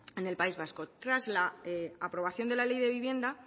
en el país vasco tras la aprobación de la ley de vivienda